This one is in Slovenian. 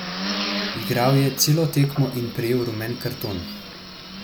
Igral je celo tekmo in prejel rumen karton.